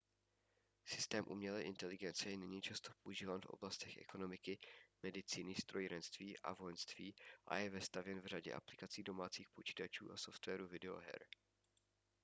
systém umělé inteligence je nyní často používán v oblastech ekonomiky medicíny strojírenství a vojenství a je vestavěn v řadě aplikací domácích počítačů a softwaru videoher